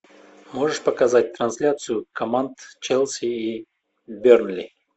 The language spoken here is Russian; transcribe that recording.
можешь показать трансляцию команд челси и бернли